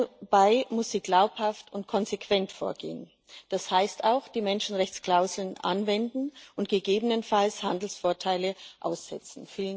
Dabei muss sie glaubhaft und konsequent vorgehen, das heißt, auch die Menschenrechtsklauseln anwenden und gegebenenfalls Handelsvorteile aussetzen.